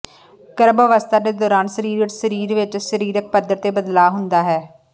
ਗਰੱਭ ਅਵਸੱਥਾ ਦੇ ਦੌਰਾਨ ਸਰੀਰ ਵਿੱਚ ਸਰੀਰ ਵਿੱਚ ਸਰੀਰਿਕ ਪੱਧਰ ਤੇ ਬਦਲਾਅ ਹੁੰਦਾ ਹੈ